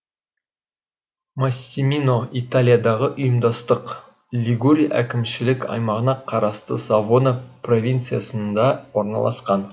массимино италиядағы ұйымдастық лигурия әкімшілік аймағына қарасты савона провинциясында орналасқан